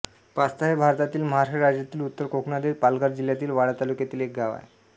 pasta हे भारतातील महाराष्ट्र राज्यातील उत्तर कोकणातील पालघर जिल्ह्यातील वाडा तालुक्यातील एक गाव आहे